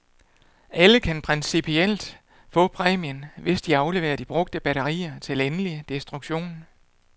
Alle kan principielt få præmien, hvis de afleverer de brugte batterier til endelig destruktion.